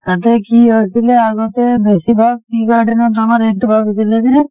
তাতে কি আছিলে আগতে বেছিভাগ tea garden ত আমাৰ এইটো ভাবিছিলে যে